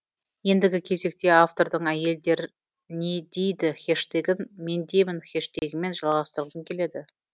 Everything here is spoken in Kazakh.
ендігі кезекте автордың әйелдернедид хэштегін мендеймін хэштегімен жалғасытырғым келеді